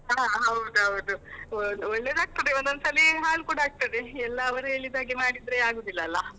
ಹಾ ಹಾ ಹೌದೌದು ಒಳ್ಳೆದಾಗ್ತದೆ, ಒಂದೊಂದ್ಸಲಿ ಹಾಳ್ ಕೂಡ ಆಗ್ತದೆ, ಎಲ್ಲ ಅವರು ಹೇಳಿದಾಗೆ ಮಾಡಿದ್ರೆ ಆಗುದಿಲ್ಲ ಅಲ.